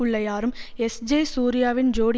உள்ள யாரும் எஸ்ஜே சூர்யாவின் ஜோடி